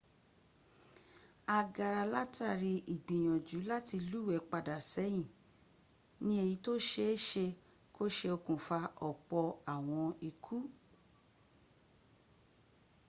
agara látàrí ìgbìyànjú láti lúwẹ̀ pada ṣẹ́yìn ní ẹ̀yí tó ṣe é́ ṣe kó se okùnfà ọ̀pọ̀ àwọn ikú